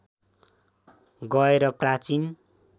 गएर प्राचीन